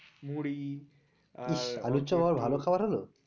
মুড়ি আর ইস আলুর চপ আবার ভালো খাবার হলো?